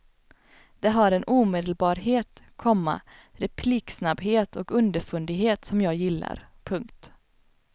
Det har en omedelbarhet, komma repliksnabbhet och underfundighet som jag gillar. punkt